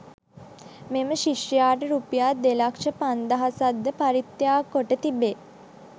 මෙම ශිෂ්‍යයාට රුපියල් දෙලක්ෂ පනස්දහසක් ද පරිත්‍යාග කොට තිබේ.